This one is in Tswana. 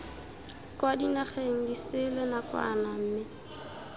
kwa dinageng disele nakwana mme